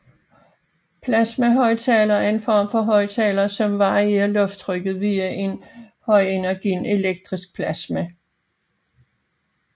Plasmahøjttaler er en form højttaler som varierer lufttrykket via en højenergi elektrisk plasma